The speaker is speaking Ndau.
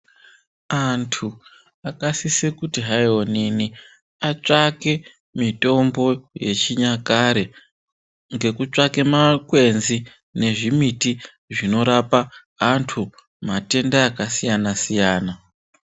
Antu akasisa kuti onini atsvake mitombo yechinyakare ngekutsvake makwenzi nezvimiti zvekurapa antu matenda akasiyana -siyana .